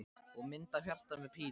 Og mynd af hjarta með pílu í.